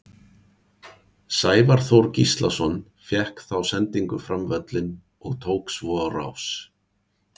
Sævar Þór Gíslason fékk þá sendingu fram völlinn og tók svo á rás.